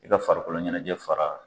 I ka farikoloɲɛnɛjɛ fara